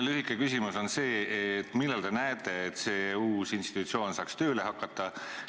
Lühike küsimus on see: millal te näete, et see uus institutsioon saaks tööle hakata?